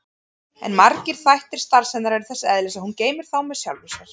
En margir þættir starfs hennar eru þess eðlis að hún geymir þá með sjálfri sér.